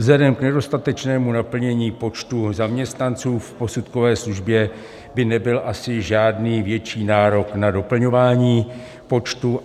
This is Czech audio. Vzhledem k nedostatečnému naplnění počtu zaměstnanců v posudkové službě by nebyl asi žádný větší nárok na doplňování počtu.